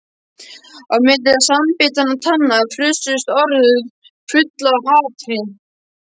Á milli samanbitinna tanna frussuðust orð full af hatri.